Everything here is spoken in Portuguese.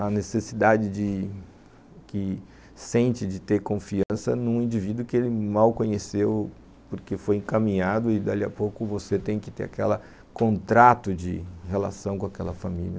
a necessidade de que sente de ter confiança num indivíduo que ele mal conheceu porque foi encaminhado e, dali a pouco, você tem que ter aquele contrato de relação com aquela família.